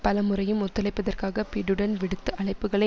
பல முறையும் ஒத்துழைப்பதற்காக பிடென் விடுத்த அழைப்புக்களை